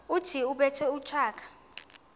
othi ubethe utshaka